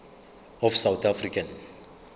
of south african